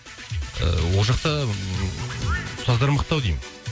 ііі ол жақта ммм ұстаздар мықты ау деймін